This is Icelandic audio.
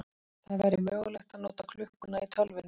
Það væri mögulegt að nota klukkuna í tölvunni.